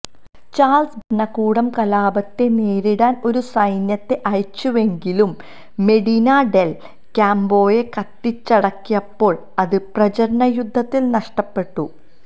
Charles ഭരണകൂടം കലാപത്തെ നേരിടാൻ ഒരു സൈന്യത്തെ അയച്ചുവെങ്കിലും മെഡിനാ ഡെൽ ക്യാമ്പോയെ കത്തിച്ചടക്കിയിരുന്നപ്പോൾ അത് പ്രചരണ യുദ്ധത്തിൽ നഷ്ടപ്പെട്ടു